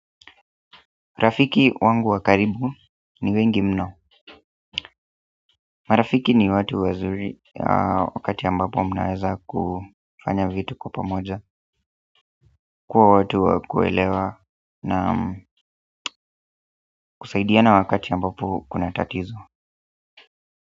Rafiki wangu wa karibu ni wengi mnao marafiki ni watu wazuri wakati ambapo mnaweza kufanya vitu kwa pamoja. Kwa watu wa kuelewa na kusaidiana wakati ambapo kuna tatizo.